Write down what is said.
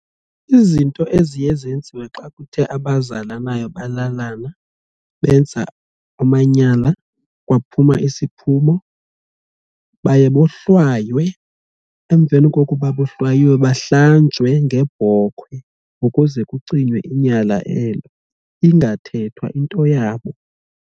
Izinto eziye zenziwe xa kuthe abazalanayo balalana benza amanyala kwaphuma isiphumo baye bohlwaywe emveni koko bahlanjwe ngebhokhwe ukuze kucinywe inyala elo ingathethwa into yabo.